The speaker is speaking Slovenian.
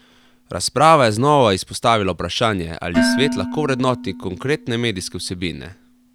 Razprava je znova izpostavila vprašanje, ali svet lahko vrednoti konkretne medijske vsebine.